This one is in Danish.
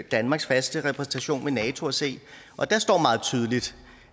danmarks faste repræsentation ved nato og se og der står meget tydeligt